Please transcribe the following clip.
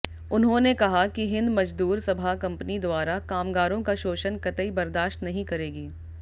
उन्होंने कहा कि हिंद मजदूर सभा कंपनी द्वारा कामगारों का शोषण कतई बर्दाश्त नहीं करेगी